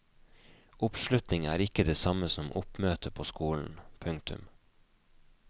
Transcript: Oppslutning er ikke det samme som oppmøte på skolen. punktum